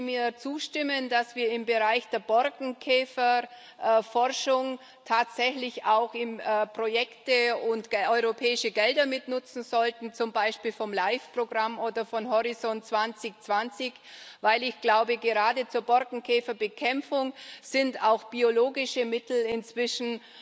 Würden Sie mir zustimmen, dass wir im Bereich der Borkenkäferforschung tatsächlich auch Projekte und europäische Gelder mitnutzen sollten, zum Beispiel vom Life Programm oder von Horizont 2020? Denn ich glaube, gerade zur Borkenkäferbekämpfung sind auch biologische Mittel inzwischen